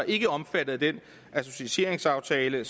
ikke er omfattet af den associeringsaftale